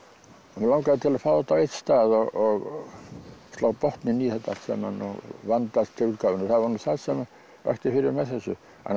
mig langaði til að fá þetta á einn stað og slá botninn í þetta allt saman og vanda til útgáfunnar það var nú það sem vakti fyrir með þessu annars